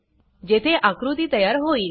जेथे आकृती तयार होईल